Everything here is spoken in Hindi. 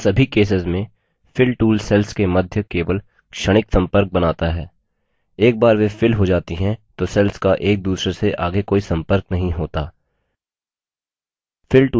इन सभी केसेस में fill tool cells के मध्य केवल क्षणिक संपर्क बनाता है एक बार वे fill हो जाती हैं तो cells का एक दूसरे से आगे कोई संपर्क नहीं होता